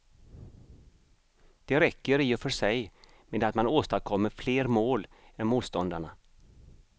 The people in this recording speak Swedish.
Det räcker i och för sig med att man åstadkommer fler mål än motståndarna.